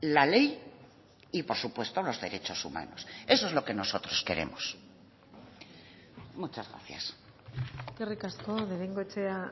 la ley y por supuesto los derechos humanos eso es lo que nosotros queremos muchas gracias eskerrik asko de bengoechea